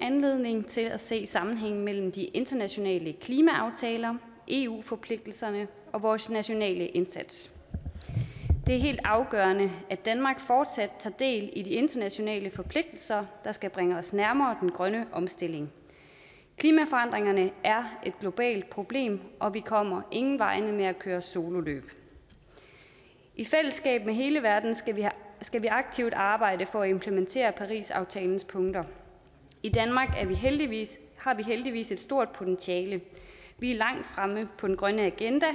anledning til at se sammenhængen mellem de internationale klimaaftaler eu forpligtelserne og vores nationale indsats det er helt afgørende at danmark fortsat tager del i de internationale forpligtelser der skal bringe os nærmere den grønne omstilling klimaforandringerne er et globalt problem og vi kommer ingen vegne med at køre sololøb i fællesskab med hele verden skal skal vi aktivt arbejde for at implementere parisaftalens punkter i danmark har vi heldigvis heldigvis et stort potentiale vi er langt fremme på den grønne agenda